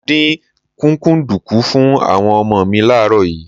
Mo dín kúkúǹdùkú fún àwọn ọmọ mi láàárọ̀ yìí.